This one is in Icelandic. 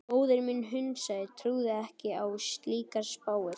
Móðir mín hnussaði, trúði ekki á slíkar spár.